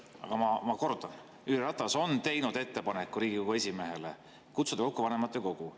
Aga ma kordan: Jüri Ratas on teinud ettepaneku Riigikogu esimehele kutsuda kokku vanematekogu.